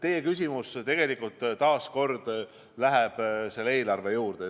Teie küsimus tegelikult oli ka suunatud eelarvele.